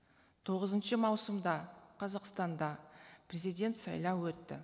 тоғызыншы маусымда қазақстанда президент сайлауы өтті